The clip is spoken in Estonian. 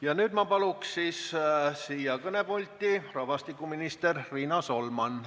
Ja nüüd ma palun siia kõnepulti rahvastikuminister Riina Solmani.